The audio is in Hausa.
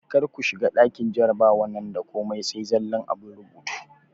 Kar ku shiga ɗakin jarabawan da komai sai zallan abun rubutu!